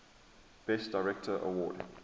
best director award